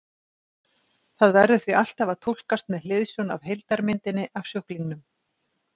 Það verður því alltaf að túlkast með hliðsjón af heildarmyndinni af sjúklingnum.